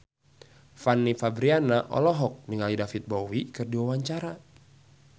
Fanny Fabriana olohok ningali David Bowie keur diwawancara